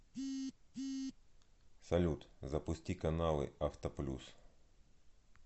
салют запусти каналы авто плюс